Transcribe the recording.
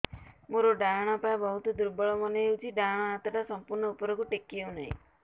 ମୋର ଡାହାଣ ପାଖ ବହୁତ ଦୁର୍ବଳ ମନେ ହେଉଛି ଡାହାଣ ହାତଟା ସମ୍ପୂର୍ଣ ଉପରକୁ ଟେକି ହେଉନାହିଁ